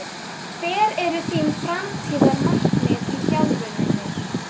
Hver eru þín framtíðarmarkmið í þjálfuninni?